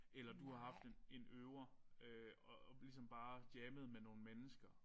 Eller du har haft en en øver øh og og ligesom bare jammet med nogle mennesker